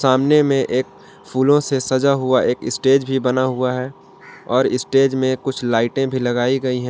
सामने में एक फूलों से सजा हुआ एक स्टेज भी बना हुआ हैं और स्टेज में कुछ लाइटे भी लगाई गई हैं।